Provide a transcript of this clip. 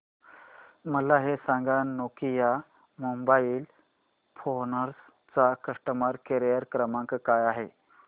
मला हे सांग नोकिया मोबाईल फोन्स चा कस्टमर केअर क्रमांक काय आहे